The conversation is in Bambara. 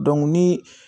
ni